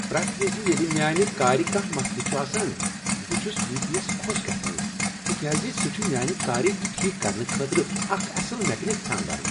پرٛیتھ وِزِ ییٚلہ میٛانہ كارِ کانٛہہ مسلہٕ چھ آسان، بہٕ چھس وی پی یس خۄش گژھان تکیاز سُہ چھ كار ٹھیٖک کرنہٕ خٲطرٕ اکھ اصل میکینک ژھانٛڈان۔